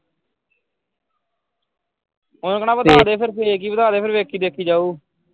ਉਹਨੂੰ ਕਹਿਣਾ ਵਧਾਦੇ ਫੇਰ fake ਹੀ ਵਧਾਦੇ ਫਿਰ ਵੇਖੀ ਦੇਖੀ ਜਾਊ।